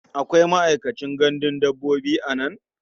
Akwai ma'aikacin gandun dabbobi a nan?